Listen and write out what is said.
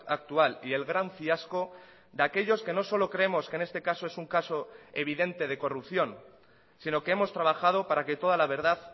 actual y el gran fiasco de aquellos que no solo creemos que en este caso es un caso evidente de corrupción sino que hemos trabajado para que toda la verdad